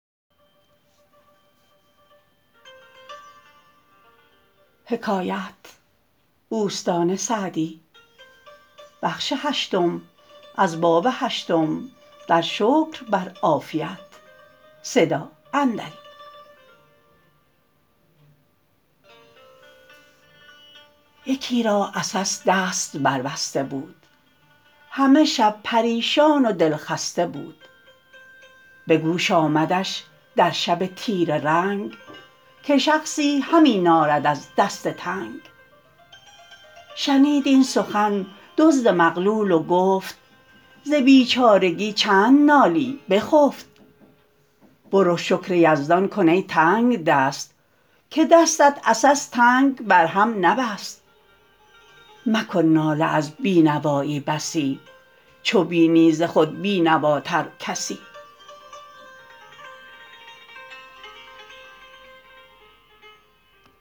یکی را عسس دست بر بسته بود همه شب پریشان و دلخسته بود به گوش آمدش در شب تیره رنگ که شخصی همی نالد از دست تنگ شنید این سخن دزد مغلول و گفت ز بیچارگی چند نالی بخفت برو شکر یزدان کن ای تنگدست که دستت عسس تنگ بر هم نبست مکن ناله از بینوایی بسی چو بینی ز خود بینواتر کسی